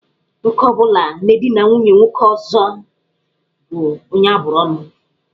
Nwoke ọ bụla na-edina nwunye nwoke ọzọ bụ onye abụrụ ọ́nụ̀.